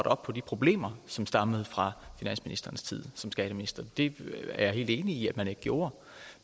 op på de problemer som stammede fra finansministerens tid som skatteminister det er jeg helt enig i man ikke gjorde